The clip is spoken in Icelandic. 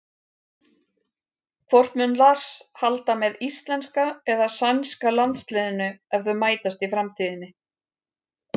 Hvort mun Lars halda með íslenska eða sænska landsliðinu ef þau mætast í framtíðinni?